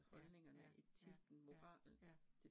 Ja ja ja ja ja